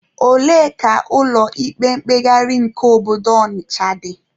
Ebee ka ụlọ ikpe mkpegharị nke obodo Ọnịcha dị?